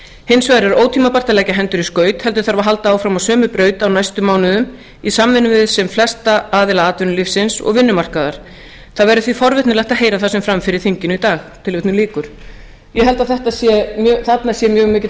hinsvegar er ótímabært að leggja hendur í skaut heldur þarf að halda áfram á sömu braut á næstu mánuðum í samvinnu við sem flesta aðila atvinnulífsins og vinnumarkaðar það verður því forvitnilegt að heyra það sem fer fram á þinginu í dag ég held að þarna sé mjög mikill